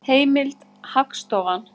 Heimild: Hagstofan.